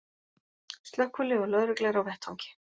Slökkvilið og lögregla eru á vettvangi